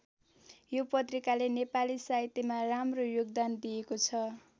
यो पत्रिकाले नेपाली साहित्यमा राम्रो योगदान दिएको छ।